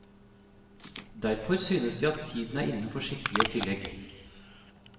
Derfor synes de at tiden er inne for skikkelige tillegg.